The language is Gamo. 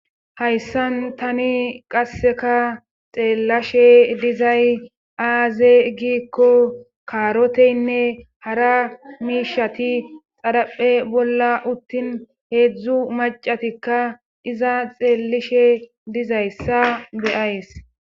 Hayssan tani qasseka xeellashe dizay aaze giikko kaaroteynne hara miishati xaraphe bolla uttin heedzdzu macatikka iza xeellishe dizayssa beyays.